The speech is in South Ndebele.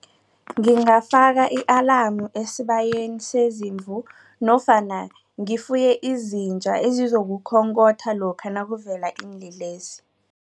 Ngingafaka i-alamu esibayeni sezimvu nofana ngifuye izinja ezizokukhonkhotha lokha nakuvele iinlelesi.